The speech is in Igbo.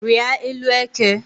Rịa élú eke